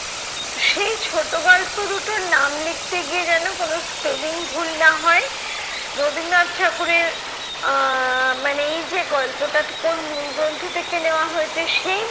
সেই ছোট গল্প দুটোর নাম লিখতে গিয়ে যেন কোনো spelling ভুল না হয়। রবীন্দ্রনাথ ঠাকুরের আহ মানে এই যে গল্পটাতে কোন মূল গ্রন্থ থেকে নেয়া হয়েছে সেই